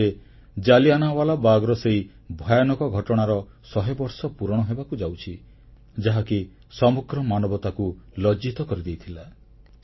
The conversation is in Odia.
2019ରେ ଜାଲିଆନାୱାଲାବାଗର ସେହି ଭୟାନକ ଘଟଣାର ଶହେ ବର୍ଷ ପୁରଣ ହେବାକୁ ଯାଉଛି ଯାହାକି ସମଗ୍ର ମାନବତାକୁ ଲଜ୍ଜିତ କରିଦେଇଥିଲା